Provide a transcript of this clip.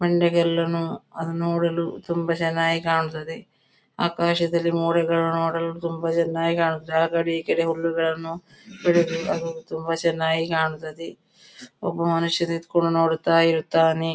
ಬಂಡೆಕಲ್ಲು ನು ಅದನ್ನು ನೋಡಲು ತುಂಬ ಚೆನ್ನಾಗಿ ಕಾಣುತ್ತದೆ ಆಕಾಶದಲ್ಲಿ ಮೋಡಗಳು ನೋಡಲು ತುಂಬ ಚೆನ್ನಾಗಿ ಕಾಣುತ್ತದೆ ಆ ಕಡೆ ಈ ಕಡೆ ಹುಲ್ಲುಗಳನ್ನು ಬೆಳೆದು ಅದು ತುಂಬ ಚೆನ್ನಾಗಿ ಕಾಣುತ್ತದೆ ಒಬ್ಬ ಮನುಷ್ಯ ನಿತ್ಕೊಂಡು ನೋಡುತ್ತಾ ಇರುತ್ತಾನೆ.